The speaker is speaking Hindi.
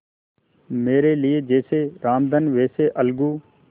मेरे लिए जैसे रामधन वैसे अलगू